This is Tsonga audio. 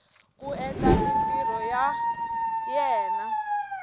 ku endla mintirho ya yena